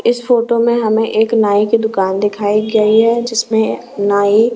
इस फोटो में हमें एक नाई की दुकान दिखाई गई है जिसमें नाई--